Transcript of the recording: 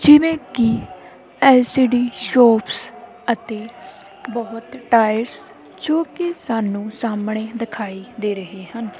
ਜਿਵੇਂ ਕੀ LCD shops ਅਤੇ ਬਹੁਤ ਟਾਇਰਸ ਜੋ ਕਿ ਸਾਨੂੰ ਸਾਹਮਣੇ ਦਿਖਾਈ ਦੇ ਰਹੇ ਹਨ।